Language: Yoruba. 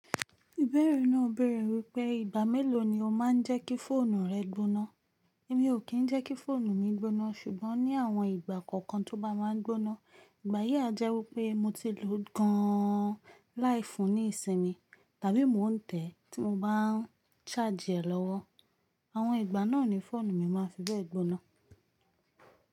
Ìbẹ̀rẹ̀ náà bẹ̀rẹ̀ wípé ìgbà mélòó ni o má ń jẹ́ kí fóònù rẹ gbóná? Èmi ò kín ń jẹ́ kí fóònù mi gbóná ṣùgbọ́n ní àwọn ìgbà kọ̀ọ̀kan tó bá máa ń gbóná. Ìgbà yí àjẹ́ wípé mo ti lò ó gan an láìfùn níìsínmi tàbí mò ń tẹ̀ tí mo bá a n ṣáàjì ẹ̀ lọ́wọ́. Àwọn ìgbà náà ni fóònù mi máa fi bẹ́ẹ̀ gbóná.